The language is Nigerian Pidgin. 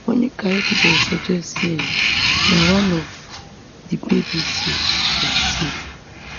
monica evidence suggest say um na one of di babies um dem save